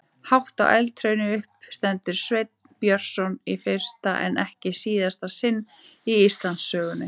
Hátt á eldhrauni uppi stendur Sveinn Björnsson í fyrsta en ekki síðasta sinn í Íslandssögunni.